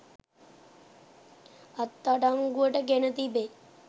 අත් අඩංගුවට ගෙන තිබේ.